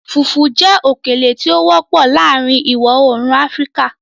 Fùfú jẹ́ òkèlè tí ìwọ-oòrùn Áfíríkà tí ó wọpọ̀